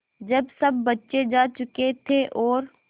जब सब बच्चे जा चुके थे और